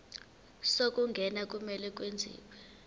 zokungena kumele kwenziwe